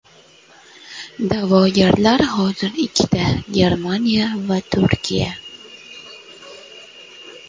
Da’vogarlar hozir ikkita Germaniya va Turkiya.